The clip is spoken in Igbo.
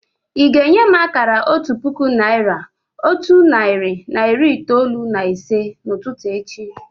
Ị́ ga-enye m akara otu puku naị́ra, otu narị na iri itoolu na ise n'ụtụtụ echi